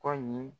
Kɔ ɲi